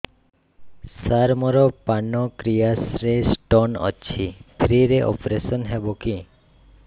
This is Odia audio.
ସାର ମୋର ପାନକ୍ରିଆସ ରେ ସ୍ଟୋନ ଅଛି ଫ୍ରି ରେ ଅପେରସନ ହେବ କି